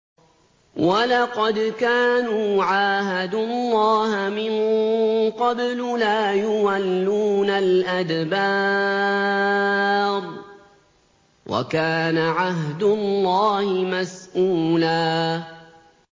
وَلَقَدْ كَانُوا عَاهَدُوا اللَّهَ مِن قَبْلُ لَا يُوَلُّونَ الْأَدْبَارَ ۚ وَكَانَ عَهْدُ اللَّهِ مَسْئُولًا